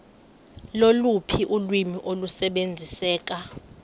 loluphi ulwimi olusebenziseka